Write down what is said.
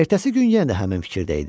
Ertəsi gün yenə də həmin fikirdə idi.